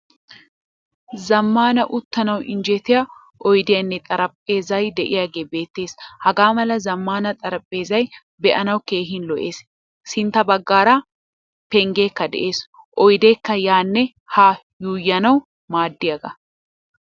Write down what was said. Zammaana uttanawu injjettiyaa oydiyanne xaraphphezzayy de'iyaage beetees. Hagaa mala zamaana xaraphphezzay be'anawu keehin lo'ees. Sintta baggaara penggekka de'ees. Oydekka yaanne haa yuuyanawu maaddiyaaga.